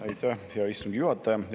Aitäh, hea istungi juhataja!